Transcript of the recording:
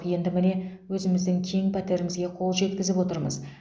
енді міне өзіміздің кең пәтерімізге қол жетізіп отырмыз